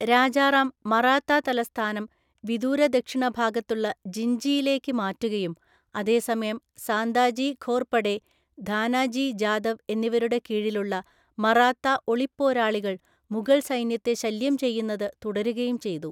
രാജാറാം മറാത്താ തലസ്ഥാനം വിദൂരദക്ഷിണഭാഗത്തുള്ള ജിൻജിയിലേക്ക് മാറ്റുകയും അതേസമയം സാന്താജി ഘോർപഡെ, ധാനാജി ജാദവ് എന്നിവരുടെ കീഴിലുള്ള മറാത്താ ഒളിപ്പോരാളികൾ മുഗൾസൈന്യത്തെ ശല്യംചെയ്യുന്നത് തുടരുകയും ചെയ്തു.